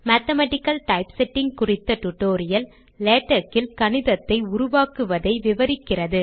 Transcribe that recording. mathematical typesetting குறித்த tutorial LaTeX இல் கணிதத்தை உருவாக்குவதை விவரிக்கிறது